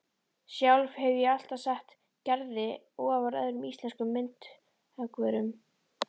Sjálf hefi ég alltaf sett Gerði ofar öðrum íslenskum myndhöggvurum